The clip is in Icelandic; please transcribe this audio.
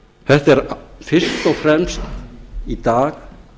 þetta er fyrst og fremst í dag